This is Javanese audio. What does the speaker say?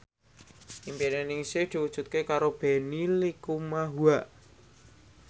impine Ningsih diwujudke karo Benny Likumahua